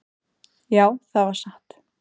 """Já, það var satt."""